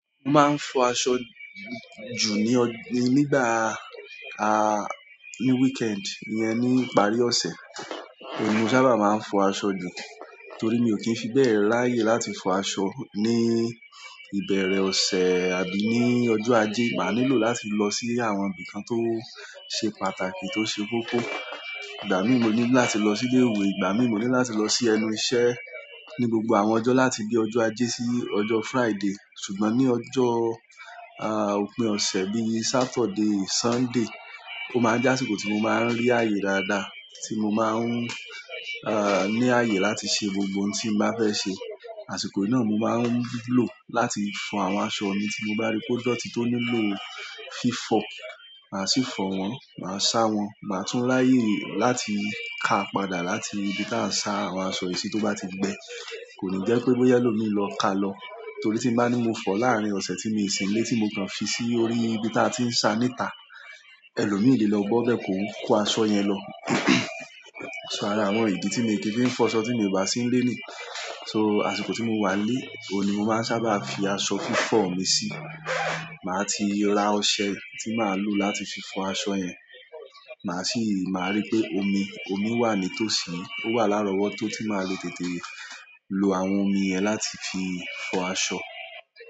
Mo máa ń fọ aṣọ ju ni nígbà a weekend iyẹ ní ìparí ọṣẹ. Òun ni mo sábà máa ń fọ aṣọ jù torí mi ò kí ń fi bẹ́ẹ̀ ráyè láti fọ aṣọ ní ìbẹ̀rẹ̀ ọ̀sẹ̀ àbí ní ọjọ́ ajé. Máà nílò láti lọ si àwọn ibìkan to ṣé pàtàkì to ṣe kókó. Ìgbà mìíràn mo nílò láti lọ sí ilé ìwé, ìgbà mìíràn mo nílò láti lọ sí ẹnu iṣẹ́ ní gbogbo àwọn ọjọ́ láti bí ọjọ́ ajé sí ọjọ́ Friday. Ṣùgbọ́n ní ọjọ òpin ọsẹ bi Saturday, Sunday o máa jẹ àsìkò ti mó máa n ri àyè dáadáa ti mo máa n ri àyè láti ṣe gbogbo ohun ti mo bá fẹ ṣe àsìkò na mo máa ń lò láti fọ àwọn aṣọ mi tí mo bá rí pé dọ̀tí tó nílò fífọ̀. Màá sì fọ̀ wọ́n, màá sá wọ́n, màá tún ráyè láti ka padà láti ibi tí a ń sá àwọn aṣọ yìí sí tó bá ti gbẹ. Koni jẹ pé bóyá ẹlòmíràn lọ kàà lọ torí tí n ba ni mo fọ láárín ọsẹ ti mí o si nile ti mo kàn fi si orí ibí tia ti ǹ sa n'ita ẹlòmíràn lé lọ bọọbẹ ko ko aṣọ yẹn lọ. So ara àwọn ìdí tí mo ti fi ń fọ aṣọ tí mo bá sí ń lé ni. So àsìkò ti mo wa ǹ le ohùn ni mo máa ǹ sábà fí aṣọ fifọ mí sí màá ti ra ọṣẹ tí màá lò láti fi fọ aṣọ yẹn. Màá sì máa rí pé omi, omi wà nítòsí, ó wà lárọ̀wọ́tó tí màá le tètè lo àwọn omi yẹn láti fi fọ aṣọ.